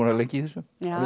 lengi í þessu